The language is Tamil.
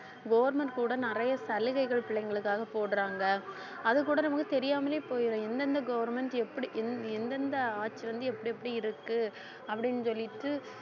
government கூட நிறைய சலுகைகள் பிள்ளைங்களுக்காக போடுறாங்க அதுகூட நமக்கு தெரியாமலே போயிடும் எந்தெந்த government எப்படி எந்~ எந்தெந்த ஆட்சி வந்து எப்படி எப்படி இருக்கு அப்படின்னு சொல்லிட்டு